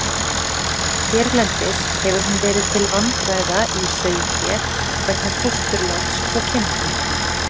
Hérlendis hefur hún verið til vandræða í sauðfé vegna fósturláts hjá kindum.